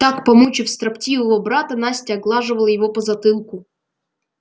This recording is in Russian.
так помучив строптивого брата настя оглаживает его по затылку